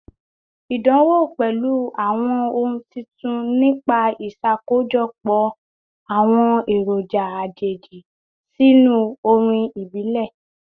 Idánwò pẹlu awọn ohun titun nipa iṣakojọpọ awọn eroja ajeji sinu orin ibile